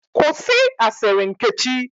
Kwụsị asịrị Nkechi!